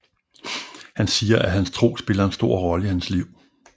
Han siger at hans tro spiller en stor rolle i hans liv